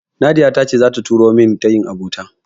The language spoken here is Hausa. Nadiya ta ce zata turo min tayin abota.